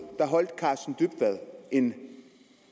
holdt karsten dybvad en